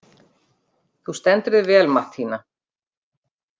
Þú stendur þig vel, Mattína!